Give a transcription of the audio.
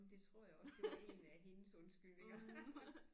Det tror jeg også det var én af hendes undskyldninger